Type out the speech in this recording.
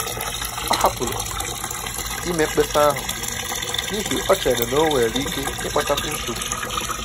Ọ hapụrụ ime mkpesa ahụ n'ihi o chere n'onwere ike ịkpatakwu nsogbu